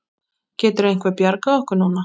Getur einhver bjargað okkur núna?